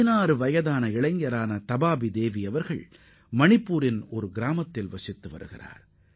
16 வயதே ஆகும் தபாபி தேவி மணிப்பூரில் உள்ள ஒரு குக்கிராமத்தைச் சேர்ந்தவராவார்